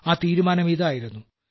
ആ തീരുമാനമിതായിരുന്നു